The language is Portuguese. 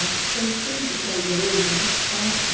Acho que foi o tempo que a igreja, de fato,